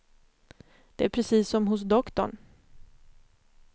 Det är precis som hos doktorn.